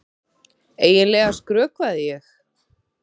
Eiginlega skrökvaði ég.